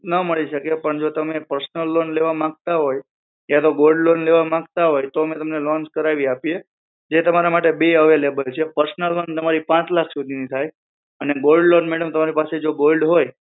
ના મળી શકે પણ જો તમે personal loan લેવા માંગતા હોય કા તો gold loan લેવા માંગતા હોય તો અમે તમને loan કરાવી આપીએ જે તમારા માટે બે available છે personal loan તમારી પાંચ લાખ સુધી ની થાય અને gold loan madam તમારી પાસે જો gold હોય